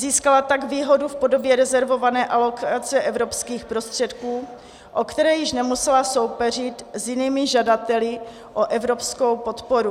Získala tak výhodu v podobě rezervované alokace evropských prostředků, o které již nemusela soupeřit s jinými žadateli o evropskou podporu.